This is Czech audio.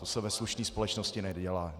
To se ve slušné společnosti nedělá.